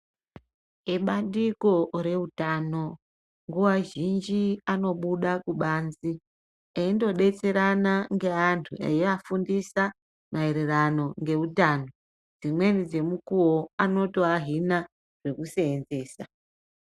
Ebandiko reutano nguwa zhinji anobuda kubanze eindodetserana neantu eiafundisa maererano neutano. Dzimweni dzemukuwo vanotoahina zvekuseenzesa.